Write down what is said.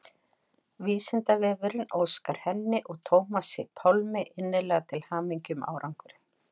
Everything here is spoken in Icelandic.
Vísindavefurinn óskar henni og Tómasi Pálmi innilega til hamingju með árangurinn.